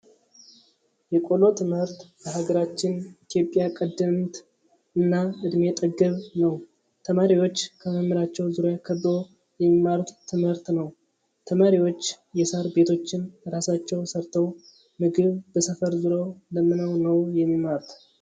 የቆሎ ትምህርት በሀገራችን ኢትዮጵያ ቀደምት እና እድሜ ጠገብ ነው። ተማሪዎች ከመምህራቸው ዙሪያ ከበው የሚማሩት ትምህርት ነው። ተማሪዎች የሳር ቤቶችን እራሳቸው ሰርተው ምግብ በሰፈር ዙረው ለምነው ነው የሚማሩት።